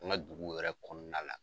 An ka duguw yɛrɛ kɔnɔna la.